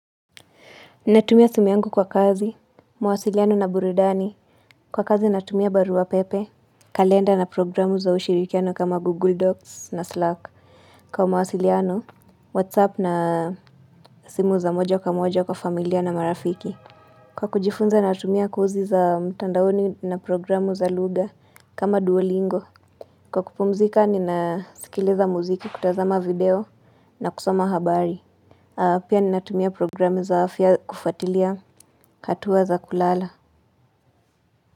Ninatumia simu yangu kwa kazi, mwasiliano na buridani. Kwa kazi natumia barua pepe, kalenda na programu za ushirikiano kama Google Docs na Slack. Kwa mawasiliano, Whatsapp na simu za moja kamoja kwa familia na marafiki. Kwa kujifunza natumia kozi za mtandaoni na programu za lugha kama duolingo. Kwa kupumzika ninasikiliza muziki kutazama video na kusoma habari. Pia ninatumia programu za afya kufatilia hatua za kulala.